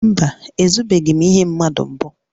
Mba, ezubeghị m ihe mmadụ mbụ